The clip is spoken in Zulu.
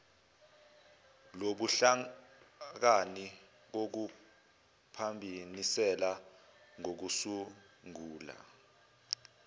lobuhlakani kokuphambaniselana ngokusungula